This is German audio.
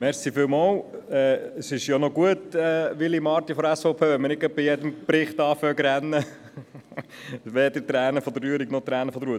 der BaK. Willi Marty, es ist ja gut, wenn wir nicht grad bei jedem Bericht zu weinen beginnen, weder Tränen der Rührung noch Tränen der Wut.